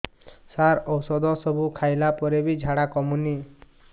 ସାର ଔଷଧ ସବୁ ଖାଇଲା ପରେ ବି ଝାଡା କମୁନି